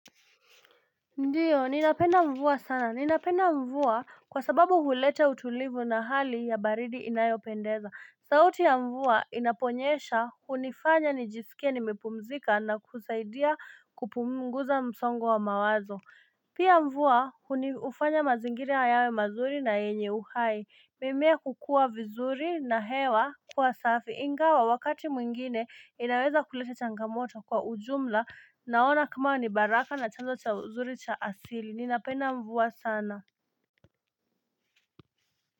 Ndiyo, ninapenda mvua sana, ninapenda mvua kwa sababu huleta utulivu na hali ya baridi inayopendeza. Sauti ya mvua inaponyesha, hunifanya nijisikie nimepumzika na kusaidia kupunguza msongo wa mawazo. Pia mvua hufanya mazingiri yawe mazuri na yenye uhai mimea kukua vizuri na hewa kuwa safi ingawa wakati mwingine inaweza kuleta changamoto kwa ujumla naona kama ni baraka na chanzo cha uzuri cha asili ninapenda mvua sana.